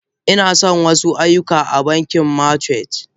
Inason wasu aiyuka na banki merchant.